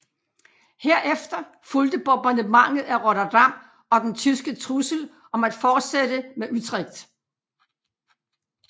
Herefter fulgte Bombardementet af Rotterdam og den tyske trussel om at fortsætte med Utrecht